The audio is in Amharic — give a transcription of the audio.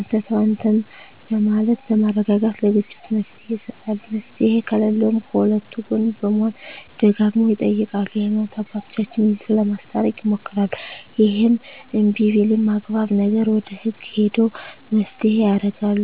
አንተ ተው አንተም በማለት በማረጋጋት ለግጭቱ መፍትሔ ይሰጣሉ መፍትሔ ከለለውም ከሁለቱ ጎን በመሆን ደጋግመው ይጠይቃሉ የሀይማኖት አባቶቻቸው ይዘው ለማስታረቅ ይሞክራሉ እሄም እንብይ ቢልም አግባብ ነገር ወደ ህግ ሄደው መፋተየ ያረጋሉ